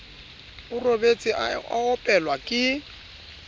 o robetse a opelwa ke